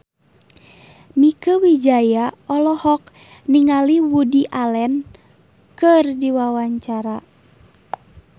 Mieke Wijaya olohok ningali Woody Allen keur diwawancara